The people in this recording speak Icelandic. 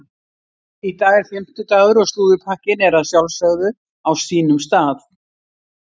Í dag er fimmtudagur og slúðurpakkinn er að sjálfsögðu á sínum stað.